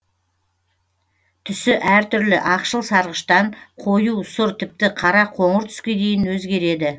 түсі әр түрлі ақшыл сарғыштан қою сұр тіпті қара қоңыр түске дейін өзгереді